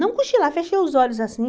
Não cochilar, fechei os olhos assim.